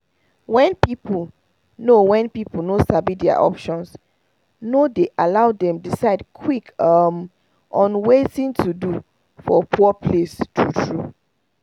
when people no when people no sabi their options no dey allow them decide quick um on watin to do for poor place true true